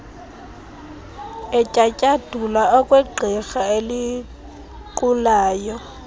etyatyadula okwegqirha elinqulayo